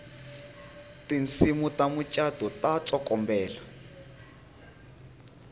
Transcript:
tinsimu ta mucato ta tsokombela